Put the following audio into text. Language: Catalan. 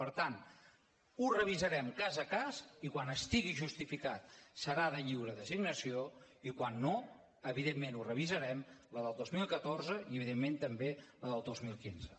per tant ho revisarem cas a cas i quan estigui justificat serà de lliure designació i quan no evidentment ho revisarem la del dos mil catorze i evidentment també la del dos mil quinze